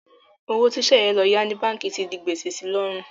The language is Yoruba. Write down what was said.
Owó tí Sẹ̀yẹ lọ yá ní báǹkì ti di gbèsè si lọ́rùn.